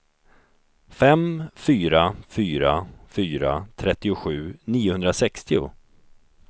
fem fyra fyra fyra trettiosju niohundrasextio